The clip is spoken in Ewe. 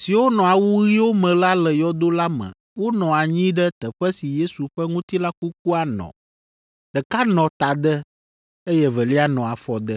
siwo nɔ awu ɣiwo me la le yɔdo la me wonɔ anyi ɖe teƒe si Yesu ƒe ŋutilã kukua nɔ; ɖeka nɔ tade, eye evelia nɔ afɔde.